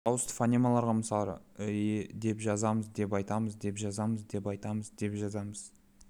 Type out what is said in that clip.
дауысты фонемаларға мысалдар іе деп жазамыз деп айтамыз деп жазамыз деп айтамыз деп жазамыз